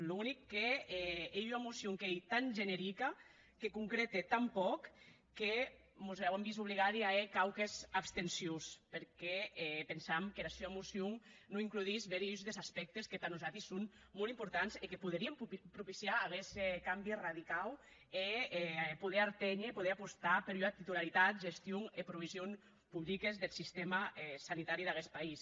er unic qu’ei ua mocion qu’ei tan generica que concrète tan pòc que mos auem vist obligadi a hèr quauques abstencions perque pensam qu’era sua mocion non includís bèri uns des aspèctes que tà nosati son molt importants e que poderien propiciar aguest cambi radicau e poder arténher poder apostar per ua titularitat gestion e provision publiques deth sistèma sanitari d’aguest país